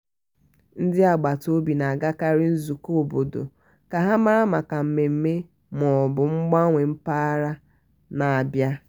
ndị agbata obi na-agakarị nzukọ obodo ka ha mara maka mmemme ma ọ bụ mgbanwe mpaghara na-abia.